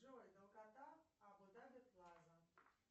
джой долгота абу даби плаза